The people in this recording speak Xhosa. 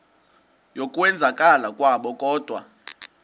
yokwenzakala kwabo kodwa